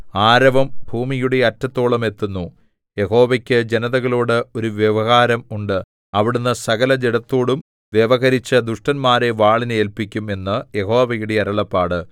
ആരവം ഭൂമിയുടെ അറ്റത്തോളം എത്തുന്നു യഹോവയ്ക്ക് ജനതകളോട് ഒരു വ്യവഹാരം ഉണ്ട് അവിടുന്ന് സകലജഡത്തോടും വ്യവഹരിച്ച് ദുഷ്ടന്മാരെ വാളിന് ഏല്പിക്കും എന്ന് യഹോവയുടെ അരുളപ്പാട്